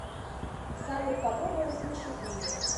салют попробуй рассмешить меня